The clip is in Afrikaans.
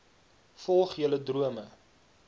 volg julle drome